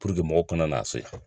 mɔgɔ kana n'a so